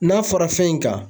N'a fɔra fɛn in kan